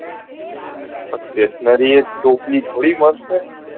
પણ stationary ટોપલો થોડી મળશે